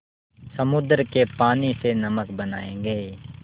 समुद्र के पानी से नमक बनायेंगे